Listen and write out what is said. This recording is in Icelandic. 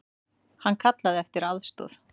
Hann kallaði eftir aðstoð.